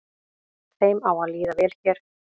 Þeim á að líða vel hér